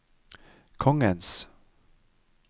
kongens